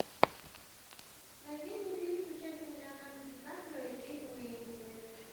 найди мне фильм с участием леонардо ди каприо и кейт уинслет